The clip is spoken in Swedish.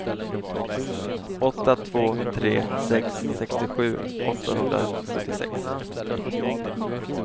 åtta två tre sex sextiosju åttahundrasjuttiosex